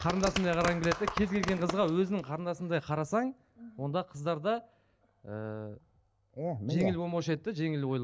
қарындасымдай қарағым келеді де кез келген қызға өзіңнің қарындасыңдай қарасаң онда қыздар да ііі жеңіл болмаушы еді де жеңіл ойлы